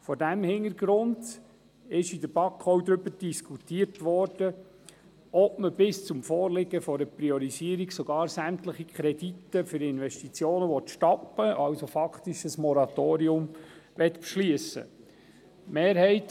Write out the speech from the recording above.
Vor diesem Hintergrund wurde in der BaK auch darüber diskutiert, ob bis zum Vorliegen einer klaren Priorisierung sämtliche Kredite für Investitionen zu stoppen und faktisch ein Moratorium zu beschliessen sei.